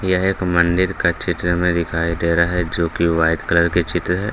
यह एक मंदिर का चित्र हमे दिखाई दे रहा है जो की व्हाइट कलर की चित्र है।